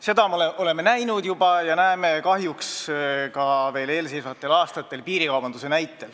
Seda me oleme juba näinud ja näeme kahjuks piirikaubanduse näitel ka veel eelseisvatel aastatel.